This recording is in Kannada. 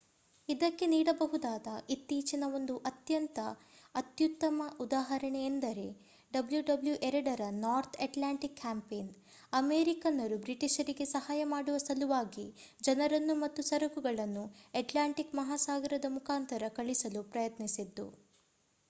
ಇದಕ್ಕೆ ನೀಡಬಹುದಾದ ಇತ್ತೀಚಿನ ಒಂದು ಅತ್ಯಂತ ಅತ್ಯುತ್ತಮ ಉದಾಹರಣೆ ಎಂದರೆ ww ii ರ ನಾರ್ತ್ ಅಟ್ಲಾಂಟಿಕ್ ಕ್ಯಾಂಪೇನ್ ಅಮೇರಿಕನ್ನರು ಬ್ರಿಟಿಷರಿಗೆ ಸಹಾಯ ಮಾಡುವ ಸಲುವಾಗಿ ಜನರನ್ನು ಮತ್ತು ಸರಕುಗಳನ್ನು ಅಟ್ಲಾಂಟಿಕ್ ಮಹಾಸಾಗರದ ಮುಖಾಂತರ ಕಳಿಸಲು ಪ್ರಯತ್ನಿಸಿದ್ದು